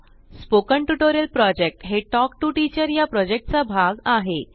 spoken tutorial project हा talk to teacher या project चा भाग आहे